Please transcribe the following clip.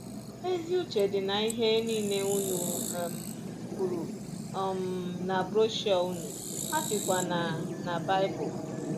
Ezi uche dị n’ihe nile unu um kwuru um na broshuọ unu, ha sikwa na na Bible.